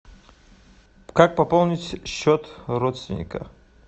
как пополнить счет родственника